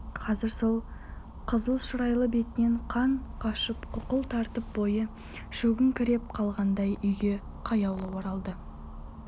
қазір сол қызылшырайлы бетінен қан қашып қуқыл тартып бойы шөгіңкіреп қалғандай үйге қаяулы оралды